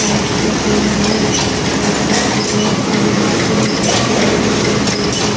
Lights लगी हुई है और लाइन से बहुत सारी मशीन रखी हुई हैं लोहे की।